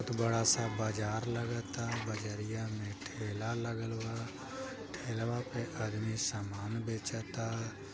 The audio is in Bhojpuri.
एक बड़ा सा बाजार लागता बजरिया में ठेला लगल बा ठेलावा पे आदमी सामान बेचता।